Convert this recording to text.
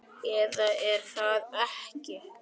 Eða er það ekki?